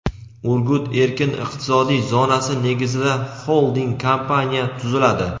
"Urgut" erkin iqtisodiy zonasi negizida xolding kompaniya tuziladi.